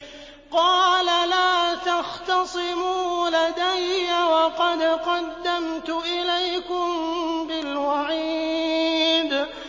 قَالَ لَا تَخْتَصِمُوا لَدَيَّ وَقَدْ قَدَّمْتُ إِلَيْكُم بِالْوَعِيدِ